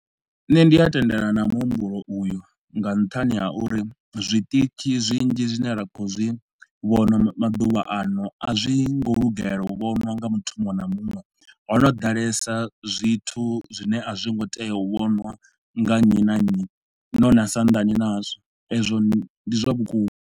Nṋe ndi a tendelana na muhumbulo u yu nga nṱhani ha uri zwiṱitshi zwinzhi zwine ra khou zwi vhona maḓuvha ano a zwi ngo lugela u vhonwa nga muthu muṅwe na muṅwe. Ho no ḓalesa zwithu zwine a zwi ngo tea u vhonwa nga nnyi na nnyi, no na sa andani nazwo, ezwo ndi zwa vhukuma.